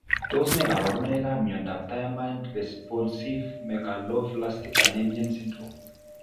Tos ne kaborunoikap miondop Thiamine responsive megaloblastic anemia syndrome?